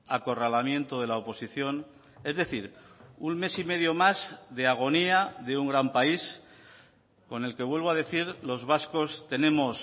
acorralamiento de la oposición es decir un mes y medio más de agonía de un gran país con el que vuelvo a decir los vascos tenemos